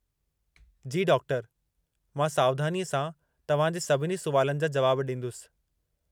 जी डॉक्टरु! मां सावधानीअ सां तव्हां जे सभिनी सुवालनि जा जुवाब ॾींदुसि।